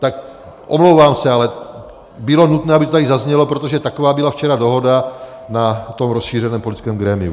Tak omlouvám se, ale bylo nutné, aby to tady zaznělo, protože taková byla včera dohoda na tom rozšířeném politickém grémiu.